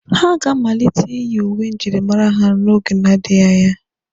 Ha ga-amalite iyi uwe njirimara n'oge na-adịghi anya.